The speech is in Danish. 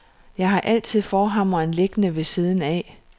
Jeg har altid forhammeren liggende ved siden af.